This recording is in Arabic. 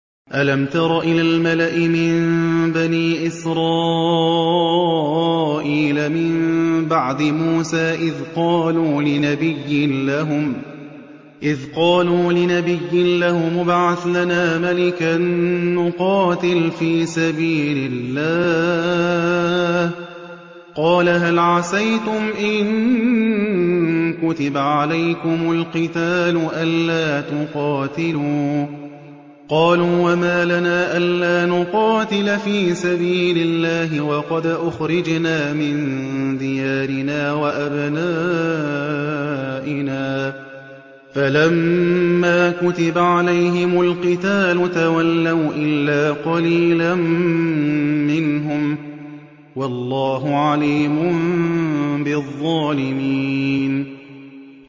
أَلَمْ تَرَ إِلَى الْمَلَإِ مِن بَنِي إِسْرَائِيلَ مِن بَعْدِ مُوسَىٰ إِذْ قَالُوا لِنَبِيٍّ لَّهُمُ ابْعَثْ لَنَا مَلِكًا نُّقَاتِلْ فِي سَبِيلِ اللَّهِ ۖ قَالَ هَلْ عَسَيْتُمْ إِن كُتِبَ عَلَيْكُمُ الْقِتَالُ أَلَّا تُقَاتِلُوا ۖ قَالُوا وَمَا لَنَا أَلَّا نُقَاتِلَ فِي سَبِيلِ اللَّهِ وَقَدْ أُخْرِجْنَا مِن دِيَارِنَا وَأَبْنَائِنَا ۖ فَلَمَّا كُتِبَ عَلَيْهِمُ الْقِتَالُ تَوَلَّوْا إِلَّا قَلِيلًا مِّنْهُمْ ۗ وَاللَّهُ عَلِيمٌ بِالظَّالِمِينَ